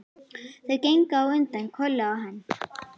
Þau gengu á undan, Kolla og hann.